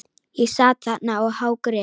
Ég sat þarna og hágrét.